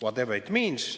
Whatever it means.